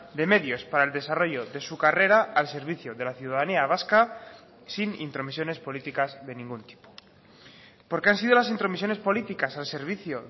de medios para el desarrollo de su carrera al servicio de la ciudadanía vasca sin intromisiones políticas de ningún tipo porque han sido las intromisiones políticas al servicio